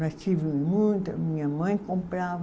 Já tive muita, minha mãe comprava.